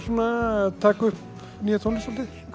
að taka upp nýja tónlist